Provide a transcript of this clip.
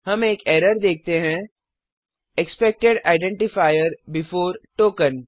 हम एक एरर देखते हैं एक्सपेक्टेड आइडेंटिफायर बेफोर टोकेन